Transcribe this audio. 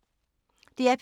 DR P2